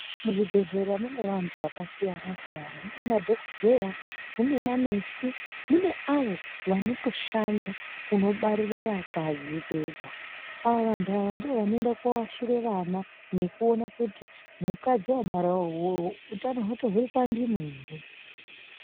Muzvibhedhlera mune vantu vakasiyana siyana. Munemadhokodheya, munemanesi, mune avo vanotoshanda kunobarire vakadzi vega. Ava vantu ava ndovanoenda koashire vana nekuona kuti mukadzi wabarawo uwowo utano hwake uripandimo ere.